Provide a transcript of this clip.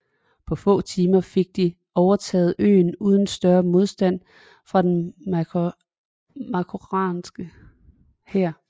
På få timer fik de overtaget øen uden større modstand fra den marokkanske hær